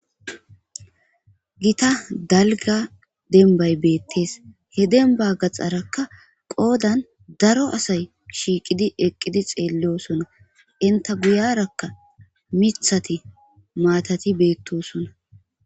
gita dalga denbay beettees he demba gaxarakka qoodan daro asay shiiqidi eqqidi xeellosonna inta guyarakka mithati maatati beettosonna